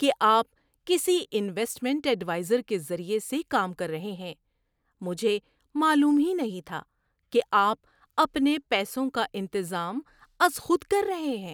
کہ آپ کسی انویسٹمنٹ ایڈوائزر کے ذریعے سے کام کر رہے ہیں، مجھے معلوم ہی نہیں تھا کہ آپ اپنے پیسوں کا انتظام از خود کر رہے ہیں۔